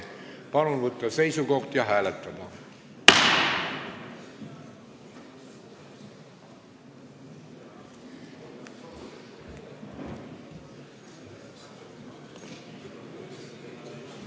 Palun võtta seisukoht ja hääletada!